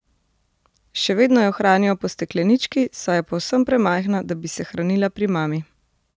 Še vedno jo hranijo po steklenički, saj je povsem premajhna, da bi se hranila pri mami.